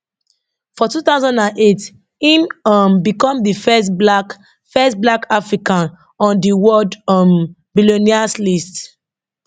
for 2008 im um become di first black first black african on di world um billionaires list